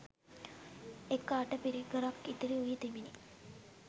එක අට පිරිකරක් ඉතිරි වී තිබිණි